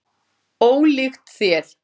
Ólíkt þér.